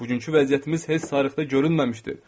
Bugünkü vəziyyətimiz heç tarixdə görünməmişdi.